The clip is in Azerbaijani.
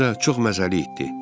Özü də çox məzəli itdi.